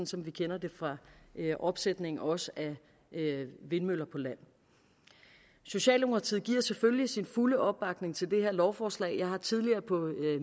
som vi kender det fra opsætning også af vindmøller på land socialdemokratiet giver selvfølgelig sin fulde opbakning til det her lovforslag jeg har tidligere på